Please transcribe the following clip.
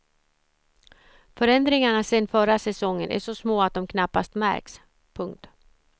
Förändringarna sedan förra säsongen är så små att de knappast märks. punkt